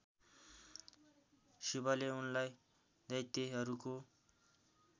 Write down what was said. शिवले उनलाई दैत्यहरूको